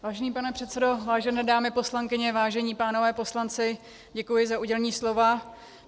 Vážený pane předsedo, vážené dámy poslankyně, vážení pánové poslanci, děkuji za udělení slova.